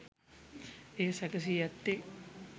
එය සැකසී ඇත්තේ